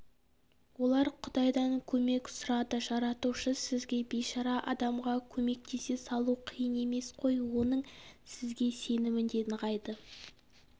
олар құдайдан көмек сұрады жаратушы сізге бейшара адамға көмектесе салу қиын емес қой оның сізге сенімі де нығайды